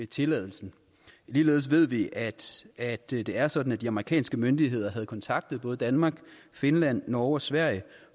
tilladelsen ligeledes ved vi at at det det er sådan at de amerikanske myndigheder havde kontaktet både danmark finland norge og sverige